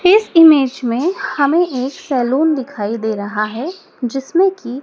इस इमेज में हमें एक सैलून दिखाई दे रहा है जिसमें की--